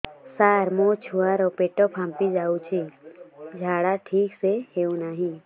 ସାର ମୋ ଛୁଆ ର ପେଟ ଫାମ୍ପି ଯାଉଛି ଝାଡା ଠିକ ସେ ହେଉନାହିଁ